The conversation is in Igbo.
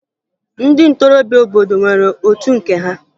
Ndị ntorobịa obodo nwere otu nke ha